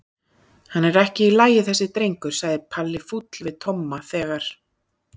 Hann er ekki í lagi þessi drengur sagði Palli fúll við Tomma þegar